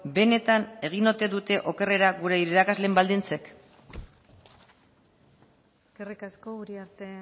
benetan egin ote dute okerrera gure irakasleen baldintzek eskerrik asko uriarte